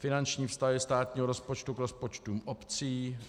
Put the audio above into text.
Finanční vztahy státního rozpočtu k rozpočtům obcí